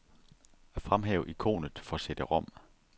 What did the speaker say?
Fremhæv ikonet for cd-rom.